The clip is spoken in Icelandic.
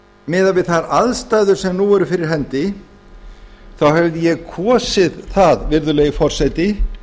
miðað við þær aðstæður sem nú eru fyrir hendi þá hefði ég kosið það virðulegi forseti